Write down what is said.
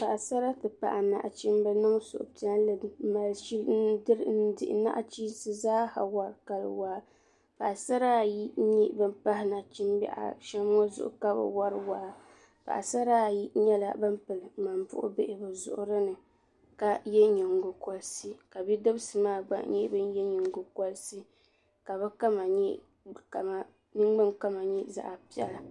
Paɣasara ti pahi nachimba niŋ suhupiɛlli dihi nachinsi zaaha wari kali waa Paɣasara ayi n nyɛ ban pahi Nachimbihi ashem ŋɔ zuɣu ka bɛ wari waa Paɣasara ayi nyɛla ban pili ŋmambuɣu bihi bɛ zuɣuri ni ka ye nyingolisi ka bidibisi maa gba ye nyingo kolisi ka bɛ ningbinkama nyɛ zaɣa piɛla.